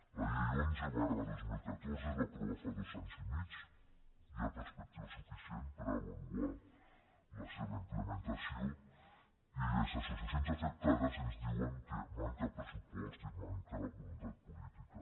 la llei onze dos mil catorze es va aprovar fa dos anys i mig hi ha perspectiva suficient per avaluar la seva implementació i les associacions afectades ens diuen que manca pressupost i manca voluntat política